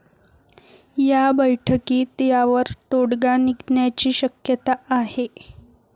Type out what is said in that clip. या बैठकीत यावर तोडगा निघण्याची शक्यता आहे.